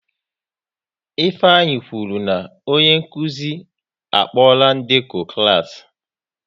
Ifeanyị kwụrụ na onye nkụzi a kpola ndekọ klas